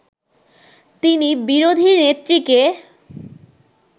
তিনি বিরোধী নেত্রীকে